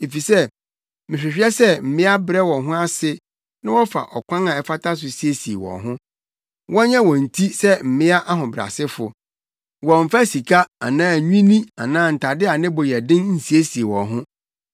Afei mehwehwɛ sɛ mmea brɛ wɔn ho ase na wɔfa ɔkwan a ɛfata so siesie wɔn ho. Wɔnyɛ wɔn ti sɛ mmea ahobrɛasefo; wɔmmfa sika anaa nwinne anaa ntade a ne bo yɛ den nsiesie wɔn ho.